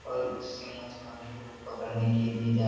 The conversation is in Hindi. और जिसे मछुआरे लोग पकड़ने के लिए जा --